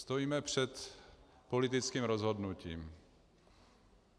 Stojíme před politickým rozhodnutím.